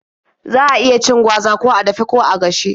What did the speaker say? Za a iya cin gwaza ko a dafe ko a gashe.